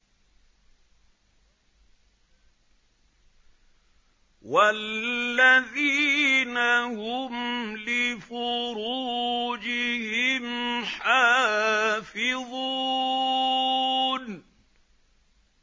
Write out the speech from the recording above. وَالَّذِينَ هُمْ لِفُرُوجِهِمْ حَافِظُونَ